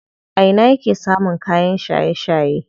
A ina yake samun kayan shaye shaye?